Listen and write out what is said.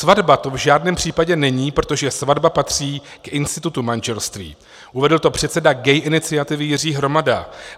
Svatba to v žádném případě není, protože svatba patří k institutu manželství," uvedl to předseda Gay iniciativy Jiří Hromada.